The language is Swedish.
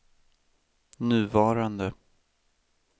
nuvarande